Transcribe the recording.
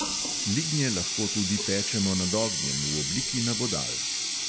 Lignje lahko tudi pečemo nad ognjem v obliki nabodal.